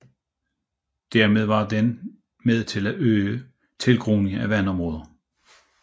Dermed var den med til at øge tilgroningen af vandområderne